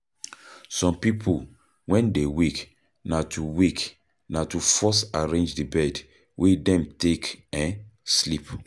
Some pipo when dem wake, na to wake, na to first arrange the bed wey dem take um sleep